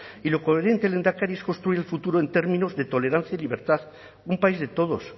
y lo coherente lehendakari es construir el futuro en términos de tolerancia y libertad un país de todos